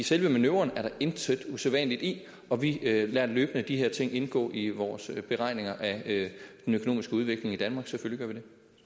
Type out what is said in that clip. selve manøvren er der intet usædvanligt i og vi lader løbende de her ting indgå i vores beregninger af den økonomiske udvikling i danmark selvfølgelig